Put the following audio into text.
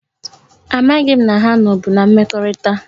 A maghi m na ha no bu na mmekorita